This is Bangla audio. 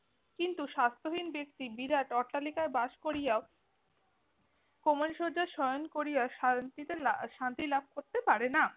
কিন্তু স্বাস্থ্যহীন ব্যাক্তি বিরাট অট্টালিকায় বাস করিয়াও কোমল সজ্জ্যায় শয়ন করিয়া শান্তিতে~ শান্তি লাভ করতে পারে না।